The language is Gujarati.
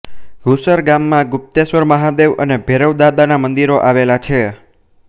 ઘુસર ગામમાં ગુપ્તેશ્વર મહાદેવ અને ભૈરવદાદાના મંદિરો આવેલા છે